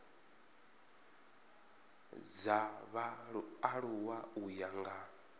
dza vhaaluwa u ya nga